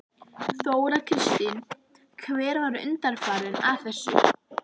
Þóra Kristín: Hver var undanfarinn að þessu?